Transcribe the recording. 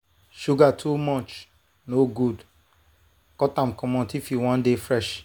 sugar too much no good cut am comot if you wan dey fresh.